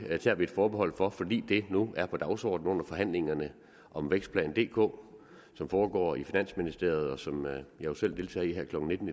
tager vi et forbehold for fordi det nu er på dagsordenen under forhandlingerne om vækstplan dk som foregår i finansministeriet og som jeg jo selv deltager i her klokken nitten